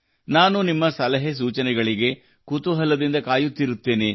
ನಾನು ನಿಮ್ಮ ಸಲಹೆ ಸೂಚನೆಗಳಿಗೆ ಕುತೂಹಲದಿಂದ ಕಾಯುತ್ತಿರುತ್ತೇನೆ